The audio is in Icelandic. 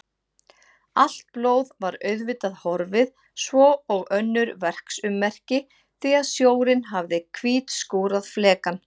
Allt blóð var auðvitað horfið svo og önnur verksummerki því að sjórinn hafði hvítskúrað flekann.